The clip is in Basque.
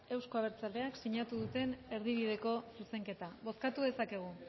euzko abertzaleak sinatu duten erdibideko zuzenketa bozkatu dezakegu